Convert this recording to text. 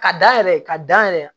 Ka da yɛrɛ ka dan yɛrɛ